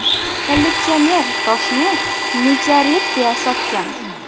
Kolleksioner toshni meteorit deya sotgan.